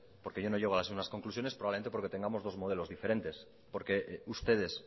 porque yo no llego a las mismas conclusiones probablemente porque tengamos dos modelos diferentes porque ustedes